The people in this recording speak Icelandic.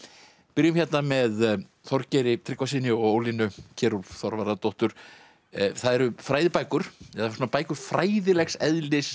byrjum hérna með Þorgeiri Tryggvasyni og Ólínu Kjerúlf Þorvarðardóttur það eru fræðibækur eða bækur fræðilegs eðlis